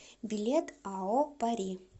билет ао пари